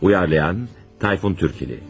Uyarlayan, Tayfun Türkili.